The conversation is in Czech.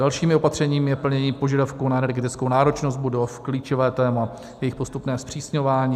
Dalším opatřením je plnění požadavků na energetickou náročnost budov - klíčové téma - jejich postupné zpřísňování.